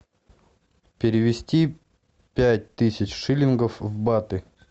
перевести пять тысяч шиллингов в баты